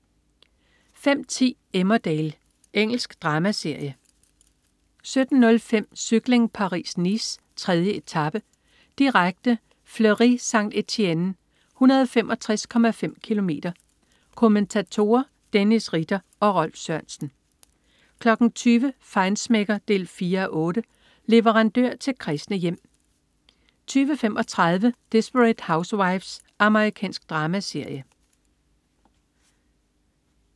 05.10 Emmerdale. Engelsk dramaserie 17.05 Cykling: Paris-Nice. 3. etape, direkte. Fleurie-Saint-Étienne, 165,5 km. Kommentatorer: Dennis Ritter og Rolf Sørensen 20.00 Feinschmecker 4:8. Leverandør til kræsne hjem 20.35 Desperate Housewives. Amerikansk dramaserie